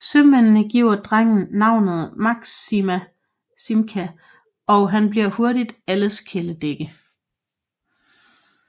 Sømændene giver drengen navnet Maksimka og han bliver hurtigt alles kæledægge